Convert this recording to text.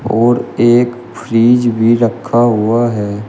और एक फ्रिज भी रखा हुआ है।